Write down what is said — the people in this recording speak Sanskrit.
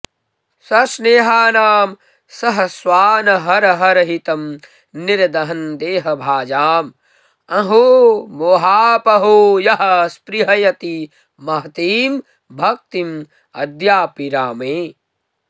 सस्नेहानां सहस्वानहरहरहितं निर्दहन् देहभाजाम् अंहोमोहापहो यः स्पृहयति महतीं भक्तिमद्यापि रामे